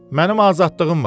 Mənim azadlığım var.